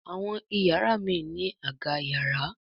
Àwọn iyàrá míràn ní Àga yàrá.